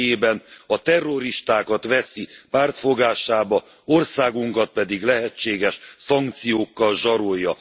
személyében a terroristákat veszi pártfogásába, országunkat pedig lehetséges szankciókkal zsarolja.